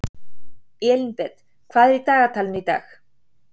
Elínbet, hvað er í dagatalinu í dag?